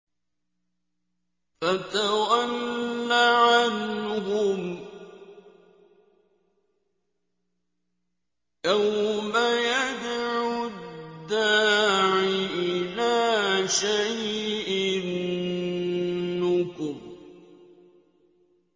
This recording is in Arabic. فَتَوَلَّ عَنْهُمْ ۘ يَوْمَ يَدْعُ الدَّاعِ إِلَىٰ شَيْءٍ نُّكُرٍ